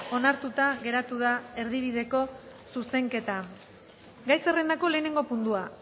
onartuta geratu da erdibideko zuzenketa gai zerrendako lehenengo puntua